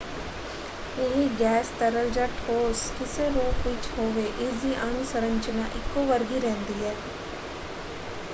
ਇਹ ਗੈਸ ਤਰਲ ਜਾਂ ਠੋਸ ਕਿਸੇ ਰੂਪ ਵਿੱਚ ਹੋਵੇ ਇਸਦੀ ਅਣੂ ਸੰਰਚਨਾ ਇੱਕੋ ਵਰਗੀ ਰਹਿੰਦੀ ਹੈ।